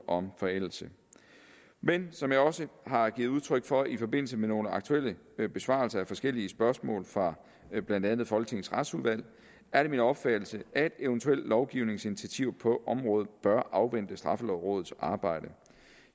om forældelse men som jeg også har givet udtryk for i forbindelse med nogle aktuelle besvarelser af forskellige spørgsmål fra blandt andet folketingets retsudvalg er det min opfattelse at eventuelle lovgivningsinitiativer på området bør afvente straffelovrådets arbejde